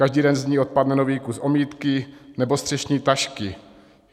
Každý den z ní odpadne nový kus omítky nebo střešní tašky.